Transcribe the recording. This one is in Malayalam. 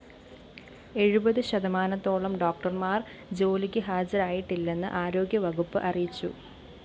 എഴുപത് ശതമാനത്തോളം ഡോക്ടര്‍മാര്‍ ജോലിക്ക് ഹാജരായിട്ടില്ലെന്ന് ആരോഗ്യവകുപ്പ് അറിയിച്ചു